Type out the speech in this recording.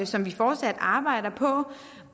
som vi fortsat arbejder på